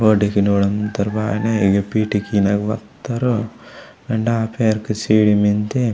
बॉडी की नुडोमोत्तोर बायने पीटी किनोन वात्तोडु एंडा पेरके सीडी मेन्दे।